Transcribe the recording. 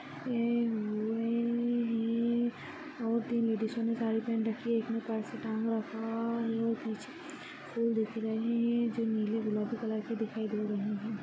यह और तीन लेडीजो ने साड़ी पहन रखी है एक ने पर्स टांगा रखा है और पीछे फूल दिख रहे है जो नीले गुलाबी कलर के दिखाई दे रहे है।